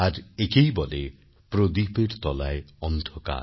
আর একেই বলে প্রদীপের তলায় অন্ধকার